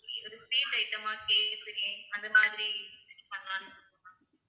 ஒரு sweet item ஆ அந்த மாதிரி பண்ணலாம்னு இருக்கோம் ma'am